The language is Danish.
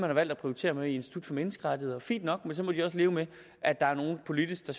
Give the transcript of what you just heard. har valgt at prioritere på i institut for menneskerettigheder fint nok men så må de også leve med at der er nogle politikere